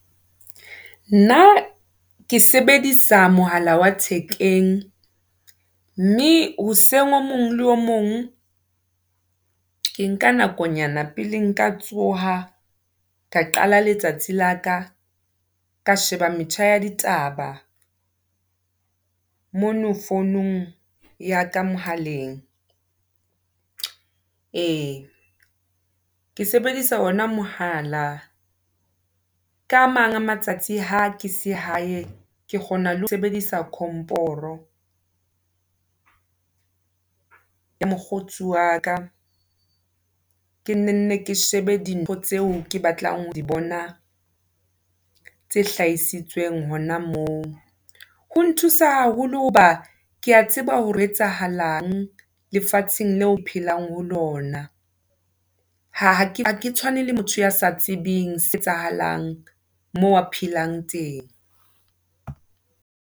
Nna ke sebedisa mohala wa thekeng, mme hoseng o mong le o mong, ke nka nako nyana pele nka tsoha ka qala letsatsi la ka. Ka sheba metjha ya ditaba mono founung ya ka mohaleng. Ke sebedisa ona mohala ka a mang a matsatsi ha ke se hae ke kgona le ho sebedisa komporo ya mokgotsi wa ka. Ke nne nne ke shebe dintho tseo ke batlang ho di bona tse hlahisitsweng hona moo. Ho nthusa haholo hoba ke a tseba ho re ho etsahalang lefatsheng le o phelang ho lona. Ha ke tshwane le motho ya sa tsebeng se etsahalang moo a phelang teng.